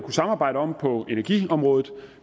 samarbejde om på energiområdet